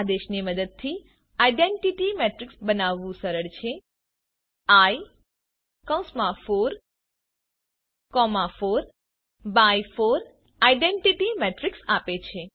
એયે આદેશની મદદથી identity matrix બનાવવું સરળ છે eye44 4 બાય 4 આઇડેન્ટિટી મેટ્રીક્સ આપે છે